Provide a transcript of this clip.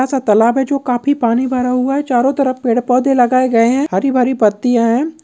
बड़ा सा तालाब है जो खाफी पानी भरा हुआ है चारो तरफ पेड़-पोधे लगाए गए हैं हरी-भरी पत्तियाँ हैं।